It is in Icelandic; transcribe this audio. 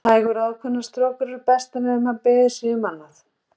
Hægar og ákveðnar strokur eru bestar nema beðið sé um annað.